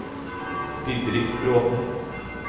Didrik Bråten